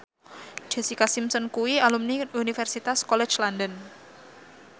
Jessica Simpson kuwi alumni Universitas College London